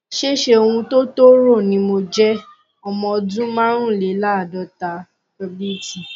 ṣé ṣé ohun tó tó rò ni mo jẹ ọmọ ọdún márùnléláàádọta wt